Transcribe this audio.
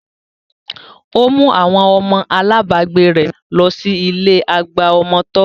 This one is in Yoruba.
Ó mú àwọn ọmọ alábagbé rẹ̀ lọ sí ilé àgbà ọmọ tọ́